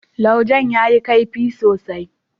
laujen ya yi kaifi sosai.